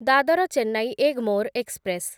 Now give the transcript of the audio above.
Dadar Chennai Egmore express